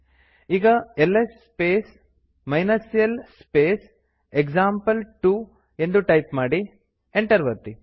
ಈಗ LS space l space example two ಎಂದು type ಮಾಡಿ ಎಂಟರ್ ಒತ್ತಿ